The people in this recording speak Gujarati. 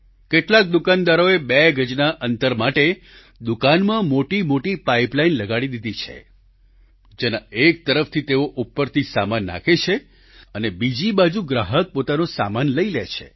કેટલાક દુકાનદારોએ બે ગજના અંતર માટે દુકાનમાં મોટી મોટી પાઈપલાઈન લગાડી દીધી છે જેના એક તરફથી તેઓ ઉપરથી સામાન નાખે છે અને બીજી બાજુ ગ્રાહક પોતાનો સામાન લઈ લે છે